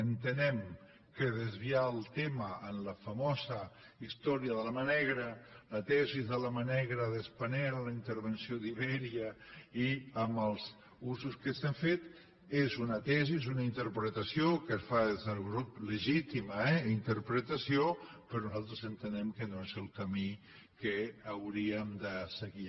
entenem que desviar el tema en la famosa història de la mà negra la tesi de la mà negra de spanair la intervenció d’iberia i en els usos que se n’han fet és una tesi és una interpretació que es fa des del grup legítima eh interpretació però nosaltres entenem que no és el camí que hauríem de seguir